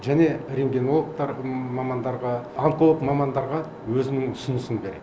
және рентгенологтар мамандарға онколог мамандарға өзінің ұсынысын береді